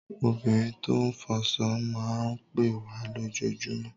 Obìnrin tó ń fọṣọ máa ń pẹ́ wá lójoojúmọ́.